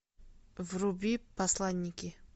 вруби посланники